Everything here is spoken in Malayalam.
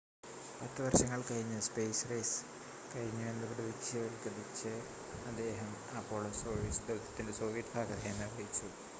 പത്ത് വർഷങ്ങൾ കഴിഞ്ഞ് സ്പെയ്സ് റേസ് കഴിഞ്ഞു എന്ന് പ്രതീകവത്ക്കരിച്ച് അദ്ദേഹം അപോളോ-സോയുസ് ദൗത്യത്തിൻ്റെ സോവിയറ്റ് ഭാഗധേയം നിർവ്വഹിച്ചു